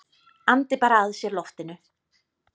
Andi bara að sér loftinu.